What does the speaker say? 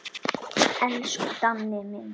Elsku Danni minn.